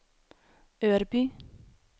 Örby